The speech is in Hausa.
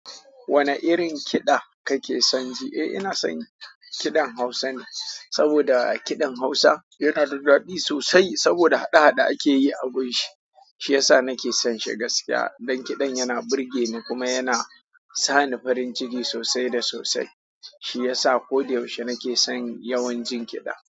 Wane irin kiɗa kake son ji? Eh, ina son kiɗan Hausa ne saboda kiɗan Hausa yana da daɗi sosai saboda haɗe-haɗe ake yi a gunshi. Shi ya sa nake son shi gaskiya don kiɗan yana burge ni kuma yana sa ni farin ciki sosai da sosai. Shi ya sa koda yaushe nake son yawan jin kiɗa.